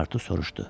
Pasportu soruşdu.